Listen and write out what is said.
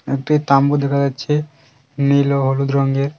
একটি তাম্বু দেখা যাচ্ছে নীল ও হলুদ রঙের।